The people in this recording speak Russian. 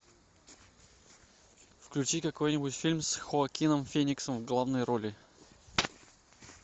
включи какой нибудь фильм с хоакином фениксом в главной роли